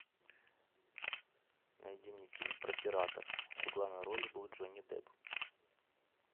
найди мне фильм про пиратов в главной роли был джонни депп